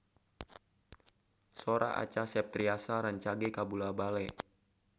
Sora Acha Septriasa rancage kabula-bale